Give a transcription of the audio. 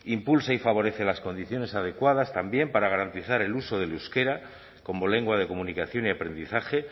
impulsa y favorece las condiciones adecuadas también para garantizar el uso del euskera como lengua de comunicación y aprendizaje